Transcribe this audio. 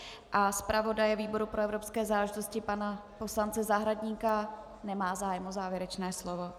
A zpravodaje výboru pro evropské záležitosti pana poslance Zahradníka, nemá zájem o závěrečné slovo.